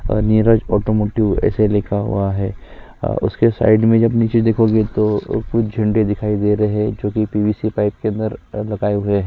Neeraj automotive ऐसे लिखा हुआ है और उसके साइड में जब नीचे देखोगे तो कुछ झंडी दिखाई दे रहै हैं जोकी पीवीसी पाइप के अंदर लगाए हुए हैं।